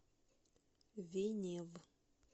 венев